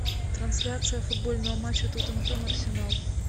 трансляция футбольного матча тоттенхэм арсенал